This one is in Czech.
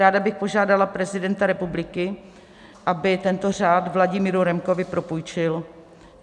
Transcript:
Ráda bych požádala prezidenta republiky, aby tento řád Vladimíru Remkovi propůjčil.